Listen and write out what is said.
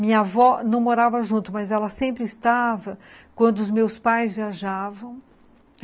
Minha avó não morava junto, mas ela sempre estava quando os meus pais viajavam.